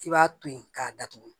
I b'a to yen k'a datugu